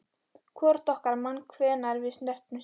Hvorugt okkar man hvenær við snertumst síðast.